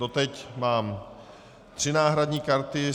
Dosud mám tři náhradní karty.